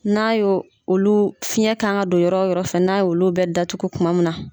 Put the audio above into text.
N'a y' olu fiɲɛ kan ka don yɔrɔ yɔrɔ fɛ n'a ye olu bɛ datugu kuma min na.